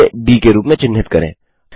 इसे डी के रूप में चिन्हित करें